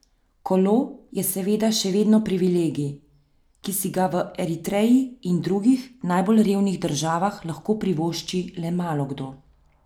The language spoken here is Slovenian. Kolo je seveda še vedno privilegij, ki si ga v Eritreji in drugih najbolj revnih državah lahko privošči le malokdo.